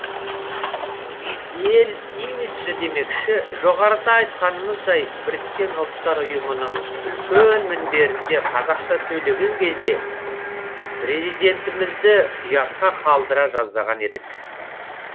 ел имиджі демекші жоғарыда айтқанымыздай біріккен ұлттар ұйымының үлкен мінберінде қазақша сөйлеген кезде президентімізді ұятқа қалдыра жаздаған едік